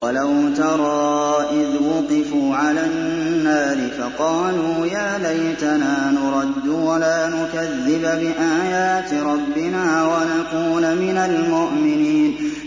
وَلَوْ تَرَىٰ إِذْ وُقِفُوا عَلَى النَّارِ فَقَالُوا يَا لَيْتَنَا نُرَدُّ وَلَا نُكَذِّبَ بِآيَاتِ رَبِّنَا وَنَكُونَ مِنَ الْمُؤْمِنِينَ